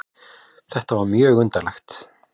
Þetta var mjög undarlegt.